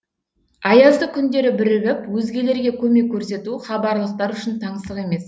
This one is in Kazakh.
аязды күндері бірігіп өзгелерге көмек көрсету хабарлықтар үшін таңсық емес